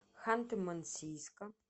ханты мансийска